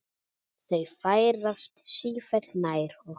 Þau færast sífellt nær okkur.